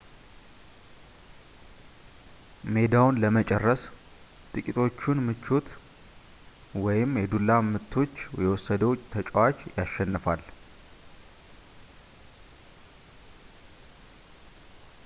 ሜዳውን ለመጨረስ ጥቂቶቹን ምቶች ወይም የዱላ ምቶች የወሰደው ተጫዋች ያሸንፋል